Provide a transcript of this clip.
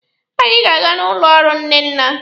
Anyị ga-aga n'ụlọ ọrụ Nnenna.